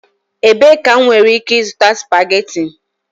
Ebee ka m nwere ike ịzụta spageti?